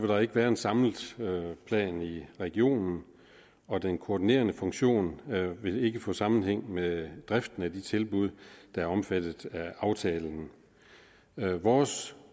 der ikke være en samlet plan i regionen og den koordinerende funktion vil ikke få sammenhæng med driften af de tilbud der er omfattet af aftalen vores